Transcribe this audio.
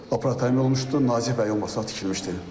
Operativ təmin olunmuşdur, nazik bağırsaq tikilmişdir.